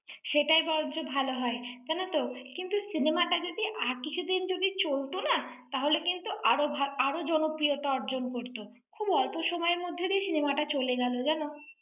সেটাই বরঞ্চ ভালো হয়। জানো তো, কিন্তু cinema টা যদি আর কিছুদিন যদি চলত না, তাহলে কিন্তু আরও ভাল~ আরও জনপ্রিয়তা অর্জন করত। খুব অল্প সময়ের মধ্যেই দিয়েই cinema চলে গেল জানো।